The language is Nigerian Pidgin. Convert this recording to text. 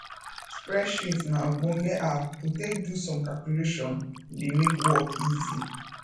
spreadsheet na ogbonge app to take do some calculations e dey make work easy